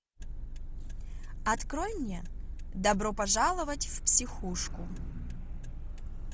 открой мне добро пожаловать в психушку